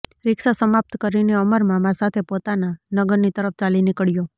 શિક્ષા સમાપ્ત કરીને અમર મામા સાથે પોતાના નગરની તરફ ચાલી નીકળ્યો